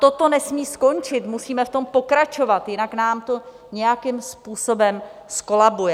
Toto nesmí skončit, musíme v tom pokračovat, jinak nám to nějakým způsobem zkolabuje.